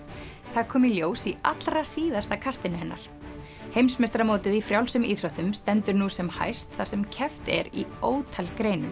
það kom í ljós í allra síðasta kastinu hennar heimsmeistaramótið í frjálsum íþróttum stendur nú sem hæst þar sem keppt er í ótal greinum